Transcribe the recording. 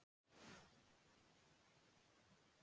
Vill að ofstækismenn svari til saka